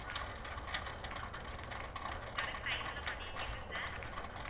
ஆஹ் okay sir, correct time ல பண்ணிடுங்க sir